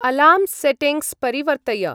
Alarm settings परिवर्तय।